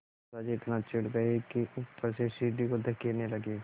दादाजी इतना चिढ़ गए कि ऊपर से सीढ़ी को धकेलने लगे